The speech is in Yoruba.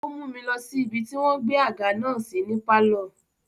Ó mú mi lọ sí ibi tí wọ́n gbé àga náà sí ní pálọ̀.